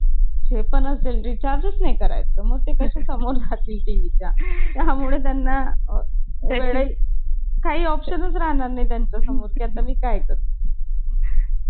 त्यात मी बारीक आहे ना मग कस जाणार त्यांच्या सोबत. हे कबड्डी खेळायला जातील, पाय-बी पकडतील आणि तोडतील त्याची मला भीती वाटते. मग मी जायचेच नाही.